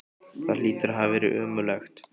Það hlýtur að hafa verið ömurlegt.